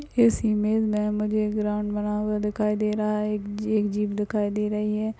इस इमेज में मुझे एक ग्राउंड बना हुआ दिखाई दे रहा है एक जी एक जिप दिखाई दे रही है।